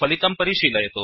फलितं परिशीलयतु